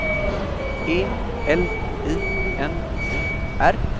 E L I N O R